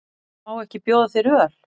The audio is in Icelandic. Má ekki bjóða þér öl?